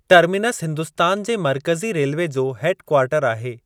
Terminus Hindustan जे मर्कज़ी railway जो हेड कवार्टर आहे।